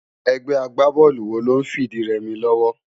Ègbé àgbábólú wó ló n fi idi rè mi lòwò?